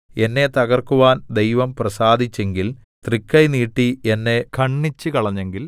എന്നെ തകർക്കുവാൻ ദൈവം പ്രസാദിച്ചെങ്കിൽ തൃക്കൈ നീട്ടി എന്നെ ഖണ്ഡിച്ചുകളഞ്ഞെങ്കിൽ